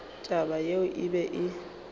taba yeo e be e